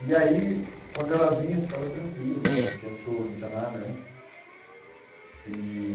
E aí, quando ela vinha, eu ficava tranquilo, não tinha soro, não tinha nada, né? E